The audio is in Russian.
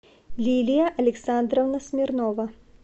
лилия александровна смирнова